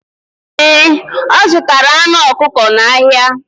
Ee, ọ zụtara anụ ọkụkọ n'ahịa.